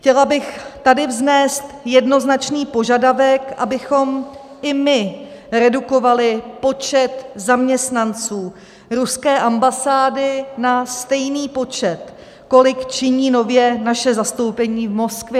Chtěla bych tady vznést jednoznačný požadavek, abychom i my redukovali počet zaměstnanců ruské ambasády na stejný počet, kolik činí nově naše zastoupení v Moskvě.